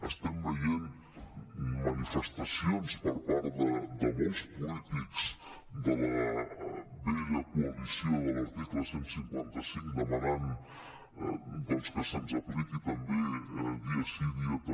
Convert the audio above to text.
estem veient manifestacions per part de molts polítics de la vella coalició de l’article cent i cinquanta cinc demanant doncs que se’ns apliqui també dia sí dia també